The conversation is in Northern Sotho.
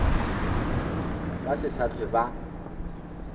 ba se sa hlwe ba